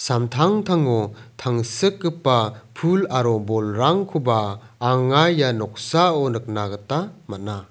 samtangtango tangsikgipa pul aro bolrangkoba anga ia noksao nikna gita man·a.